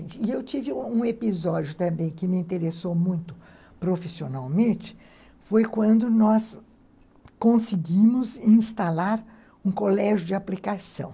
E eu tive um episódio também que me interessou muito profissionalmente, foi quando nós conseguimos instalar um colégio de aplicação.